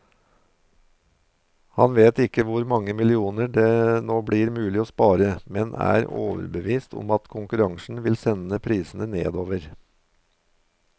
Han vet ikke hvor mange millioner det nå blir mulig å spare, men er overbevist om at konkurransen vil sende prisene nedover.